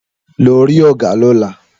Lọ rí ọgá lóla